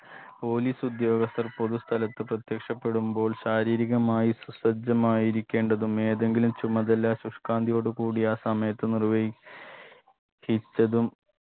police ഉദ്യോഗസ്ഥർ പൊതു സ്ഥലത്ത് പ്രത്യക്ഷപ്പെടുമ്പോൾ ശാരീരികമായി സസജ്ജമായിരിക്കേണ്ടതും ഏതെങ്കിലും ചുമതല ശുഷ്കാന്തിയോട് കൂടി ആ സമയത്ത് നിർവഹിക് ഹിച്ചതും